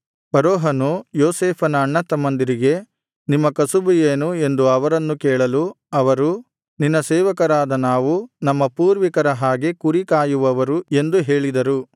ಫರೋಹನು ಯೋಸೇಫನ ಅಣ್ಣತಮ್ಮಂದಿರಿಗೆ ನಿಮ್ಮ ಕಸುಬು ಏನು ಎಂದು ಅವರನ್ನು ಕೇಳಲು ಅವರು ನಿನ್ನ ಸೇವಕರಾದ ನಾವು ನಮ್ಮ ಪೂರ್ವಿಕರ ಹಾಗೆ ಕುರಿಕಾಯುವವರು ಎಂದು ಹೇಳಿದರು